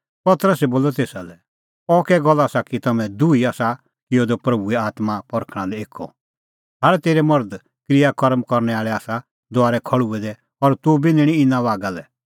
पतरसै बोलअ तेसा लै अह कै गल्ल आसा कि तम्हैं दुही आसा किअ द प्रभूए आत्मां परखणां लै एक्कअ भाल़ तेरै मर्धे क्रियाकर्म करनै आल़ै आसा दुआरै खल़्हुऐ दै और तुबी निंणीं इना बागा लै